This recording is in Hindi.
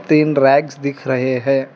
तीन रैक्स दिख रहे हैं।